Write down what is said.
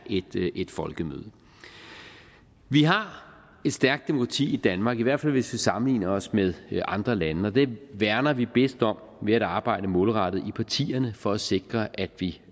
et folkemøde vi har et stærkt demokrati i danmark i hvert fald hvis vi sammenligner os med andre lande det værner vi bedst om ved at arbejde målrettet i partierne for at sikre at vi